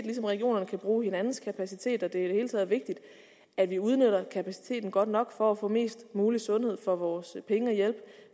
ligesom regionerne kan bruge hinandens kapacitet er det hele taget vigtigt at vi udnytter kapaciteten godt nok for at få mest mulig sundhed for vores penge og hjælpe